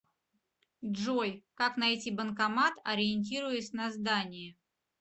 джой как найти банкомат ориентируясь на здание